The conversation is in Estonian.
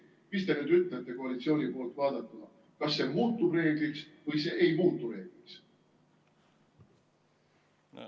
Mis te nüüd ütlete koalitsiooni poolt vaadatuna, kas see muutub reegliks või see ei muutu reegliks?